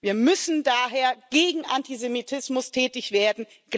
Wir müssen daher gegen Antisemitismus tätig werden.